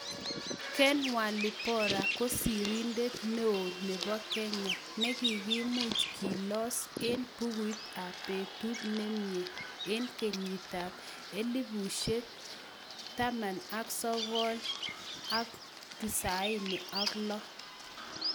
ken walibora kosirindet neo nebo kenya negigimuch kelos eng bukuit ap petut nemye eng Kenyit ab 1996